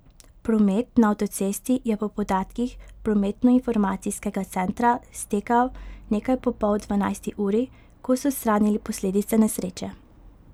Promet na avtocesti je po podatkih prometnoinformacijskega centra stekel nekaj po pol dvanajsti uri, ko so odstranili posledice nesreče.